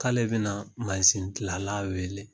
K'ale biɛna gilala wele